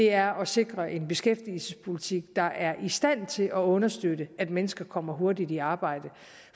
er at sikre en beskæftigelsespolitik der er i stand til at understøtte at mennesker kommer hurtigt i arbejde